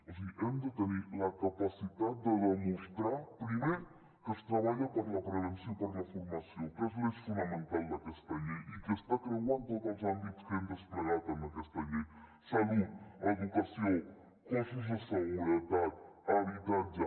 o sigui hem de tenir la capacitat de demostrar primer que es treballa per la prevenció i per la formació que és l’eix fonamental d’aquesta llei i que està creuant tots els àmbits que hem desplegat en aquesta llei salut educació cossos de seguretat habitatge